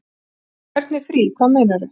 Hvernig frí. hvað meinarðu?